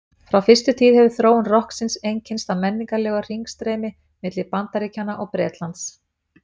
Frá fyrstu tíð hefur þróun rokksins einkennst af menningarlegu hringstreymi milli Bandaríkjanna og Bretlands.